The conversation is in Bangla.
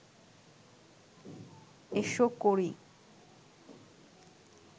এসো করি